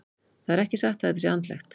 Það er ekki satt að þetta sé andlegt.